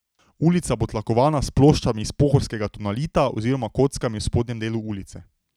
Ulica bo tlakovana s ploščami iz pohorskega tonalita oziroma kockami v spodnjem delu ulice.